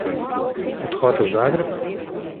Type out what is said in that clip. Odhod v Zagreb?